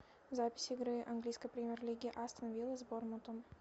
запись игры английской премьер лиги астон вилла с борнмутом